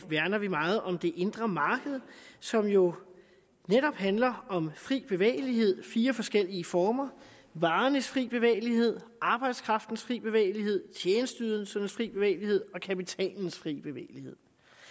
værner vi meget om det indre marked som jo netop handler om fri bevægelighed fire forskellige former varernes frie bevægelighed arbejdskraftens frie bevægelighed tjenesteydelsernes frie bevægelighed og kapitalens frie bevægelighed